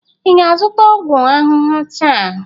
ị ga-azụta ọgwụ ahụhụ taa?